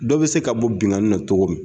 Dɔ be se ka bɔ binkanni na togo min